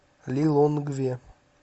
лилонгве